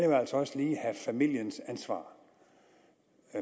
have familiens ansvar